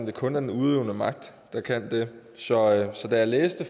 det kun er den udøvende magt der kan det så da jeg læste